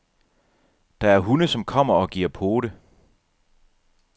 Der er hunde, som kommer og giver pote.